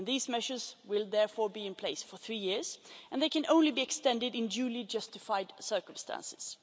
These measures will therefore be in place for three years and they can only be extended in duly justified circumstances.